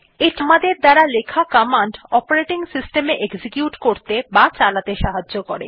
এটি আমাদের দ্বারা লেখা কমান্ড অপারেটিং সিস্টেম এ এক্সিকিউট করত়ে বা চালাতে সাহায্য করে